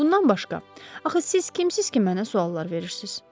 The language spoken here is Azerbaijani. Bundan başqa, axı siz kimsiniz ki, mənə suallar verirsiniz?